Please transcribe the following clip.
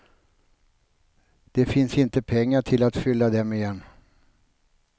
Det finns inte pengar till att fylla dem igen.